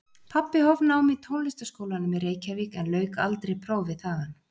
Pabbi hóf nám í Tónlistarskólanum í Reykjavík en lauk aldrei prófi þaðan.